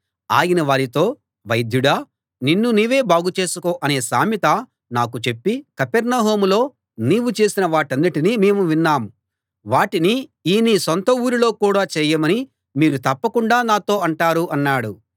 ఆయన వారితో వైద్యుడా నిన్ను నీవే బాగు చేసుకో అనే సామెత నాకు చెప్పి కపెర్నహూములో నీవు చేసిన వాటన్నిటినీ మేము విన్నాం వాటిని ఈ నీ సొంత ఊరులో కూడా చేయమని మీరు తప్పకుండా నాతో అంటారు అన్నాడు